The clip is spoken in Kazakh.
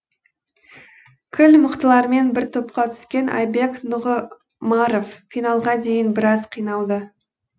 кіл мықтылармен бір топқа түскен айбек нұғымаров финалға дейін біраз қиналды